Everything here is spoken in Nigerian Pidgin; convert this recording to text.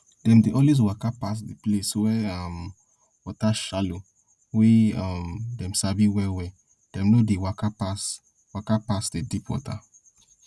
dem dey always waka pass the place wey um water shallow wey um dem sabi well well dem no dey waka pass waka pass the deep water